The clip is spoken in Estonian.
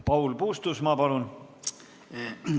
Paul Puustusmaa, palun!